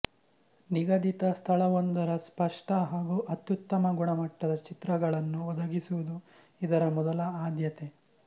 ನಿಗದಿತ ಸ್ಥಳವೊಂದರ ಸ್ಪಷ್ಟ ಹಾಗೂ ಅತ್ಯುತ್ತಮ ಗುಣಮಟ್ಟದ ಚಿತ್ರಗಳನ್ನು ಒದಗಿಸುವುದು ಇದರ ಮೊದಲ ಆದ್ಯತೆ